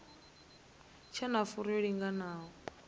tshe na furu yo linganaho